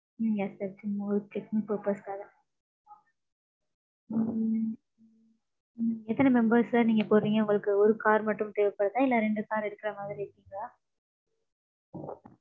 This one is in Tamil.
ம்ம் yes sir சும்மா ஒரு checking purpose காக. ம்ம். எத்தன members sir நீங்க போறீங்க? உங்களுக்கு ஒரு car மட்டும் தேவை படுதா இல்ல ரெண்டு car எடுத்துக்கற மாறி இருக்கா?